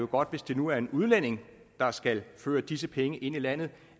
godt hvis det nu er en udlænding der skal føre disse penge ind i landet